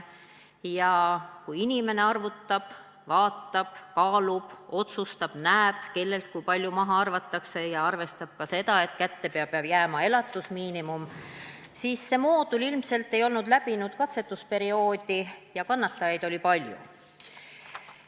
Kui inimene arvutab, vaatab, kaalub, otsustab, näeb, kellelt kui palju maha arvatakse, ja arvestab ka seda, et kätte peab jääma elatusmiinimum, siis see moodul ilmselt ei olnud läbinud katsetusperioodi ja kannatajaid oli palju.